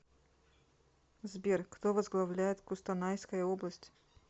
сбер кто возглавляет кустанайская область